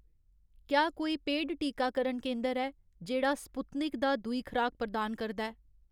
क्या कोई पेड टीकाकरण केंदर ऐ जेह्ड़ा स्पुत्निक . दा दूई खराक प्रदान करदा ऐ